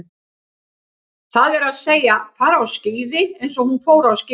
Það er að segja, fara á skíði eins og hún fór á skíði.